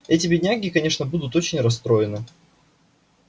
эти бедняги конечно будут очень расстроены